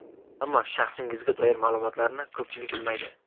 Ammo shaxsingizga doir ma’lumotlarni ko‘pchilik bilmaydi.